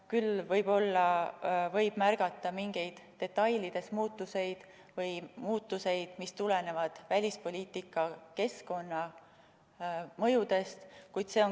Küll aga võib märgata mingeid muutusi detailides või selliseid muutusi, mis tulenevad välispoliitika keskkonna mõjudest.